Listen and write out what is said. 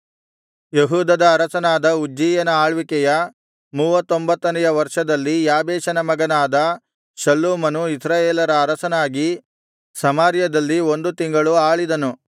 ಯೆಹೂದದ ಅರಸನಾದ ಉಜ್ಜೀಯನ ಆಳ್ವಿಕೆಯ ಮೂವತ್ತೊಂಬತ್ತನೆಯ ವರ್ಷದಲ್ಲಿ ಯಾಬೇಷನ ಮಗನಾದ ಶಲ್ಲೂಮನು ಇಸ್ರಾಯೇಲರ ಅರಸನಾಗಿ ಸಮಾರ್ಯದಲ್ಲಿ ಒಂದು ತಿಂಗಳು ಆಳಿದನು